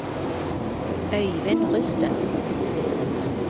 Øyvind Rusten